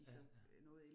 Ja ja